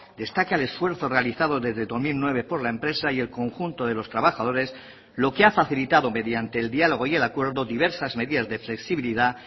destaca el esfuerzo realizado desde dos mil nueve por la empresa y el conjunto de los trabajadores lo que ha facilitado mediante el diálogo y el acuerdo diversas medidas de flexibilidad